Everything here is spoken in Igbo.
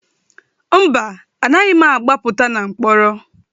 Mba, anaghị m agbapụta na mkpọrọ.